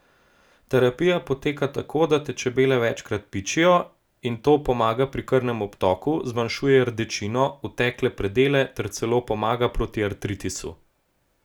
Terapija poteka tako, da te čebele večkrat pičijo in to pomaga pri krvnem obtoku, zmanjšuje rdečino, otekle predele ter celo pomaga proti artritisu.